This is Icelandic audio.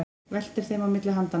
Veltir þeim á milli handanna.